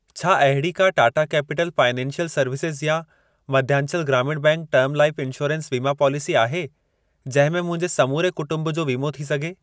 छा अहिड़ी का टाटा कैपिटल फाइनेंसियल सर्विसेज़ या Madhyanchal Gramin bank term life insurance वीमा पॉलिसी आहे जंहिं में मुंहिंजे समूरे कुटुंब जो वीमो थी सघे?